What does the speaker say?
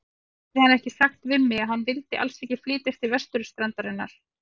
Hafði hann ekki sagt við mig, að hann vildi alls ekki flytjast til vesturstrandarinnar?